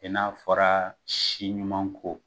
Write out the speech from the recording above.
I n'a fɔra si ɲuman ko